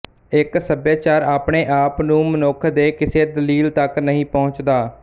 ਇੱਕ ਸੱਭਿਆਚਾਰ ਆਪਣੇ ਆਪ ਨੂੰ ਮਨੁੱਖ ਦੇ ਕਿਸੇ ਦਲੀਲ ਤਕ ਨਹੀਂ ਪਹੁੰਚਦਾ